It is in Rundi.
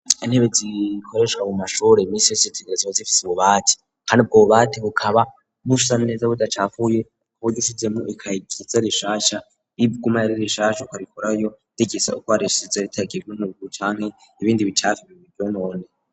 Intebe zikoreshwa mu mashure nisracitegeraziba zifise ububati kandi ubwo bu bati ukaba busa neza budacafuye bogusizemo ikakizarishasha ibgumaririshasha karikorayo tegesa uko areshize ritagiwe mu gucanke ibindi bicafi bivyonona.